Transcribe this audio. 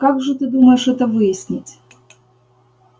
как же ты думаешь это выяснить